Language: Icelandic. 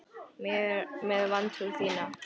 Með vantrú þína.